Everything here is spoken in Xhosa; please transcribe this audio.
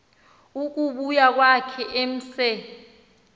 ukubuya kwakhe emse